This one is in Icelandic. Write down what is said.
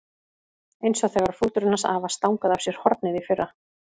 Eins og þegar hrúturinn hans afa stangaði af sér hornið í fyrra.